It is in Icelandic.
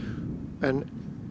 en